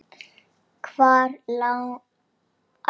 Hvar lagði Jón bílnum?